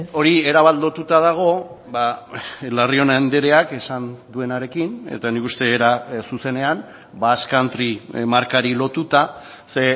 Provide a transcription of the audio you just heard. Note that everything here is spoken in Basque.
hori erabat lotuta dago larrion andreak esan duenarekin eta nik uste era zuzenean basque country markari lotuta ze